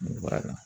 Mun bɔra a kan